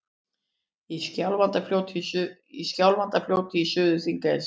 Í Skjálfandafljóti í Suður-Þingeyjarsýslu.